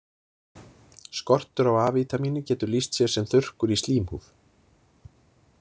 Skortur á A-vítamíni getur lýst sér sem þurrkur í slímhúð.